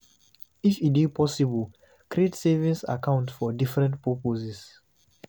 If e dey possible, create savings account for different purposes